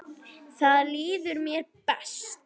Þar líður mér best.